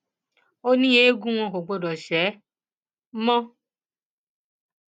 ó ní eegun wọn kò gbọdọ ṣe mọ